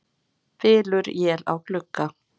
Bylur él á glugga.